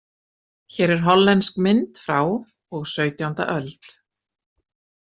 Hér er hollensk mynd frá og sautjánda öld.